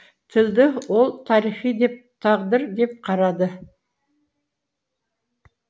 тілді ол тарих деп тағдыр деп қарады